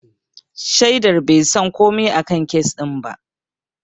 Shaidar bai san komai a kan kes ɗin ba.